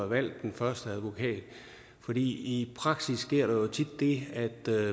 valgt den første advokat for i praksis sker der jo tit det